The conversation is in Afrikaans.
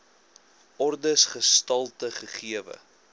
ordes gestalte gegee